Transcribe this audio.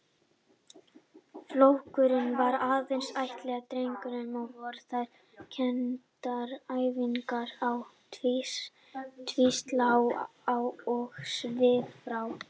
Flokkurinn var aðeins ætlaður drengjum og voru þar kenndar æfingar á tvíslá og svifrá.